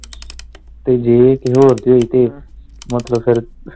ਤੇ ਜੇ ਕਿਸੇ ਹੋਰ ਦੀ ਹੋਈ ਫਿਰ ਮਤਲਬ ਫਿਰ।